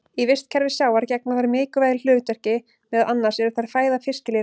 Í vistkerfi sjávar gegna þær mikilvægu hlutverki, meðal annars eru þær fæða fiskilirfa.